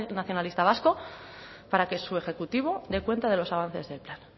nacionalista vasco para que su ejecutivo dé cuenta de los avances del plan